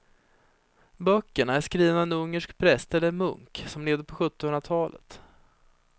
Böckerna är skrivna av en ungersk präst eller munk som levde på sjuttonhundratalet.